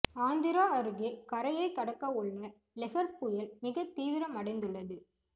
ஆந்திரா அருகே கரையை கடக்கவுள்ள லெஹர் புயல் மிக தீவிரம் அடைந்துள்ளது